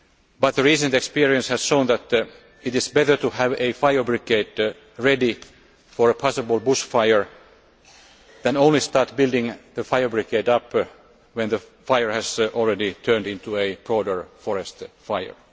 to it. But recent experience has shown that it is better to have a fire brigade ready for a possible bush fire than only start building the fire brigade up when the fire has already turned into a broader forest